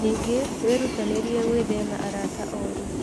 Ningĩ, wĩrutanĩrie gwĩthema arata ũru.